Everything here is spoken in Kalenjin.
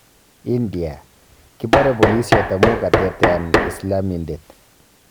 India:Kipore Polisiot amu katetea Islamindet